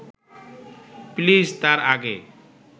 please তার আগে